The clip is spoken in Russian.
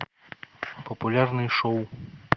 популярные шоу